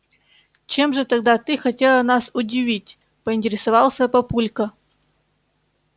чем же тогда ты хотела нас удивить поинтересовался папулька